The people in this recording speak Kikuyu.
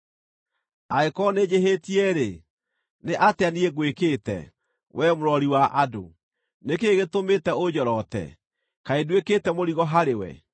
Angĩkorwo nĩnjĩhĩtie-rĩ, nĩ atĩa niĩ ngwĩkĩte, Wee mũrori wa andũ? Nĩ kĩĩ gĩtũmĩte ũnjorote? Kaĩ nduĩkĩte mũrigo harĩwe?